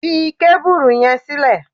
Fi kábùrù yẹn sílẹ̀!